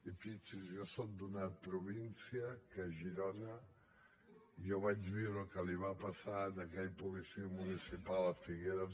i fixi’s jo soc d’una província que és girona i jo vaig viure el que li va passar a aquell policia municipal a figueres